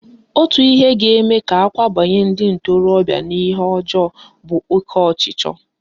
Otu ihe ga-ebute ka akwabanye ndị ntorobịa n'ihe ọjọọ bụ oke ọchịchọ